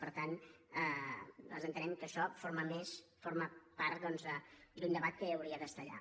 per tant nosaltres entenem que això forma part doncs d’un debat que hauria d’estar allà